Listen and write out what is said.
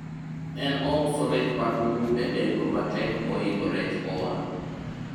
en ouso rech manugu e nengo matek mohingo rech mowang'